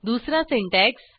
दुसरा सिंटॅक्स